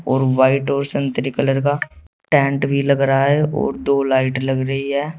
और व्हाइट और संतरी कलर का टेंट भी लग रहा है और दो लाइट लग रही है।